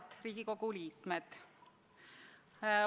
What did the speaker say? Head Riigikogu liikmed!